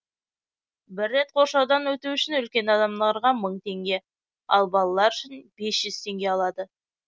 бір рет қоршаудан өту үшін үлкен адамдарға мың теңге ал балалар үшін бес жүз теңге алады